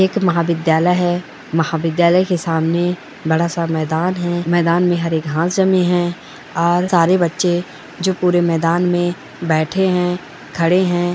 एक महाविद्यालय है। महाविद्यालय के सामने बड़ा सा मैदान है। मैदान में हरे घास जमे हैं और सारे बच्चे जो पुरे मैदान में बैठे हैं खड़े हैं।